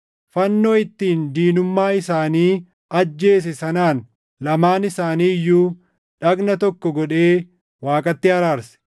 fannoo ittiin diinummaa isaanii ajjeese sanaan lamaan isaanii iyyuu dhagna tokko godhee Waaqatti araarse.